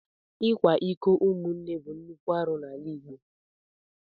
Ikwa iko umunne bụ nnukwu arụ n'ala Igbo.